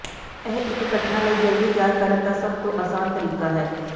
ਇਹ ਇੱਕ ਘਟਨਾ ਲਈ ਜਲਦੀ ਤਿਆਰ ਕਰਨ ਦਾ ਸਭ ਤੋਂ ਆਸਾਨ ਤਰੀਕਾ ਹੈ